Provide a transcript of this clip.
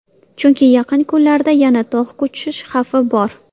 Chunki yaqin kunlarda yana tog‘ ko‘cish xavfi bor.